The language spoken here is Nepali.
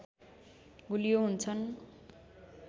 गुलियो हुन्छन्